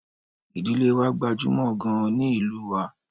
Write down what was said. Ìdílé wa gbajúmọ̀ gaan ni ìlú wa